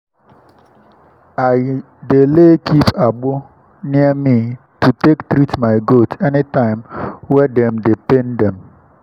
i dey lay keep agbo near me to take treat my goat anytime wey dem dey pain dem.